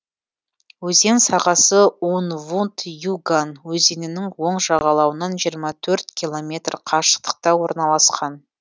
өзен сағасы ун вунт юган өзенінің оң жағалауынан жиырма төрт километр қашықтықта орналасқан